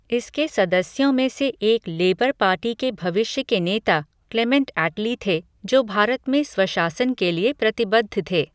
इसके सदस्यों में से एक लेबर पार्टी के भविष्य के नेता क्लेमेंट एटली थे, जो भारत में स्वशासन के लिए प्रतिबद्ध थे।